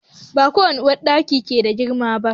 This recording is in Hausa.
Ba duka uwarɗaki ke da girma ba.